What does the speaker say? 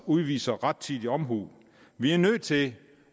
udviser rettidig omhu vi er nødt til